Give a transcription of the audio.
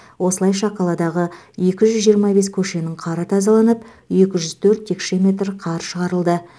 осылайша қаладағы екі жүз жиырма бес көшенің қары тазаланып екі жүз төрт текше метр қар шығарылды